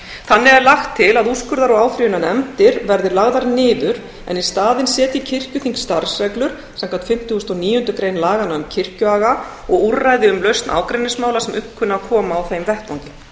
þannig er lagt til að úrskurðar og áfrýjunarnefndir verði lagðar niður en í staðinn setji kirkjuþing starfsreglur samkvæmt fimmtugustu og níundu grein laganna um kirkjuaga og úrræði um lausn ágreiningsmála sem upp kunna að koma á þeim vettvangi